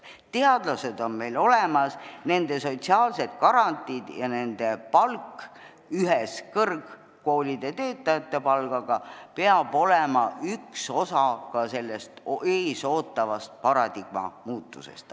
Teadlased on meil olemas, nende sotsiaalsed garantiid ja nende palk ühes kõrgkoolide töötajate palgaga peab olema üks osa ka sellest ees ootavast paradigma muutusest.